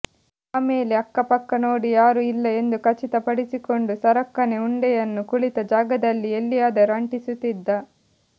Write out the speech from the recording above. ಆಮೇಲೆ ಅಕ್ಕಪಕ್ಕ ನೋಡಿ ಯಾರು ಇಲ್ಲ ಎಂದು ಖಚಿತ ಪಡಿಸಿಕೊಂಡು ಸರಕ್ಕನೆ ಉಂಡೆಯನ್ನು ಕುಳಿತ ಜಾಗದಲ್ಲಿ ಎಲ್ಲಿಯಾದರೂ ಅಂಟಿಸುತಿದ್ದ